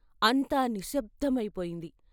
అంతా నిశ్శబ్దమై పోయింది.